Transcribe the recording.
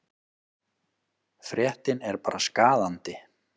Fréttin er bara skaðandi.